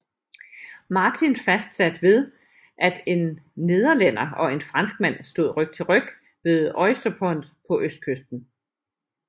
Martin fastsat ved at en nederlænder og en franskmand stod ryg til ryg ved Oysterpond på østkysten